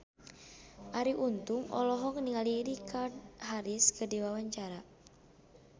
Arie Untung olohok ningali Richard Harris keur diwawancara